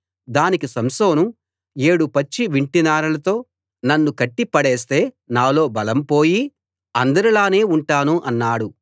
దానికి సంసోను ఏడు పచ్చి వింటినారలతో నన్ను కట్టిపడేస్తే నాలో బలం పోయి అందరిలానే ఉంటాను అన్నాడు